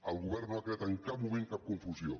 el govern no ha creat en cap moment cap confusió